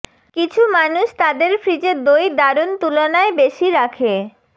কিছু মানুষ তাদের ফ্রিজে দই দারুণ তুলনায় বেশি রাখে